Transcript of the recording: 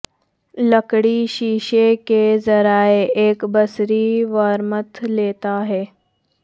لکڑی شیشے کے ذریعہ ایک بصری وارمتھ لیتا ہے